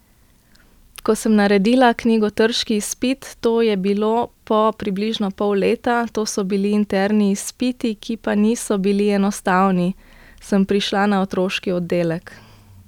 Ko sem naredila knjigotrški izpit, to je bilo po približno pol leta, to so bili interni izpiti, ki pa niso bili enostavni, sem prišla na otroški oddelek.